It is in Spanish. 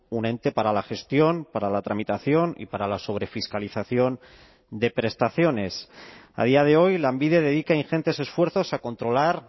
un ente para la gestión para la tramitación y para la sobrefiscalización de prestaciones a día de hoy lanbide dedica ingentes esfuerzos a controlar